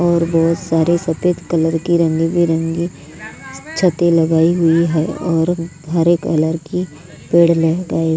और बहुत सारे सफेद कलर की रंगी बिरंगी छतें लगाई हुई है और हरे कलर की पेड़ लगाए --